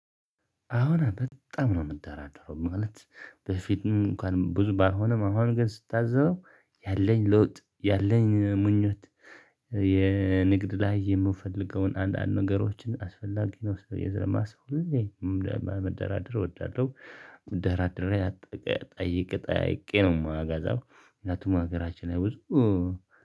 አሁን በጣም ነው የምደራደረው ማለት በፊትም እንኳን ብዙ ባይሆንም አሁን ግን ስታዘብ ያለኝ ለውጥ ያለኝ ምኞት የንግድ ላይ የምፈልገውን አንዳንድ ነገሮችን አስፈላጊ ናቸው ብየ ስለማስብ ሁሌ መ መደራደር እወዳለሁ። መደራደሪያ ጠይቄ ጠያይቄ ነው የማገዛው ምክንያቱም ሀገራችን ላይ ብዙ